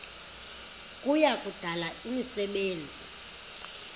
kuya kudala imisebenzi